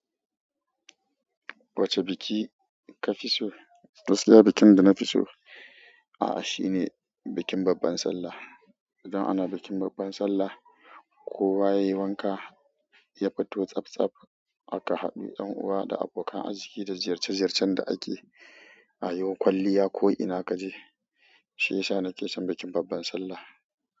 Wacce biki kafi so? Gaskiya bikin da na fi so, a shine bikin babbar Sallah. Idan ana bikin babban Sallah, kowa yayi wanka, ya fito tsaf tsaf, aka haɗu 'yan uwa da abokan arziki da ziyarce-ziyarcen da ake a yi. Kwalliya ko ina kaje. Shiyasa nake son bikin babban Sallah.